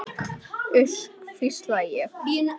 Uss, hvísla ég.